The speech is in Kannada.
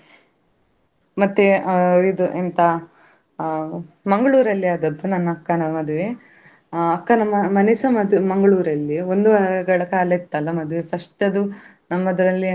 ದೇಶದಿಂದ, ಹಾಗೆ ಬೇರೆ ರಾಜ್ಯದಲ್ಲಿರುವ ಹಾಗೆಲ್ಲಾ ತುಂಬ ಹಲವು ರೀತಿ ಪ್ರಾಣಿಗಳು ಕೂಡ ಇದ್ದವು, ಇತ್ತು. ಆ ನಮ್ಗೆ ಬೇರೆ ಬೇರೆ ರೀತಿಯ ಆ ಮಂಗಗಳು ಆಗಿರ್ಬೋದು ಅಥವಾ ಬೇರೆ ಬೇರೆ ರೀತಿಯ.